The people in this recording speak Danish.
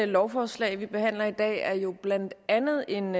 lovforslag vi behandler i dag er jo blandt andet en